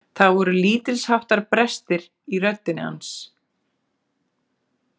Það voru lítilsháttar brestir í röddinni hans.